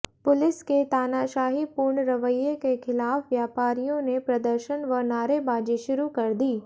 police के तानाशाहीपूर्ण रवैये के खिलाफ व्यापारियों ने प्रदर्शन व नारेबाजी शुरू कर दी